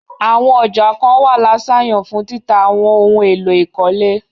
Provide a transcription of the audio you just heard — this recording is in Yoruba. Àwọn ọjà kán wà lâsàyàn fún títà àwọn ohun èlò ìkọ́lé.